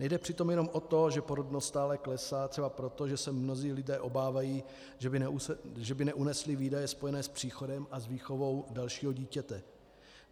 Nejde přitom jenom o to, že porodnost stále klesá třeba proto, že se mnozí lidé obávají, že by neunesli výdaje spojené s příchodem a s výchovou dalšího dítěte.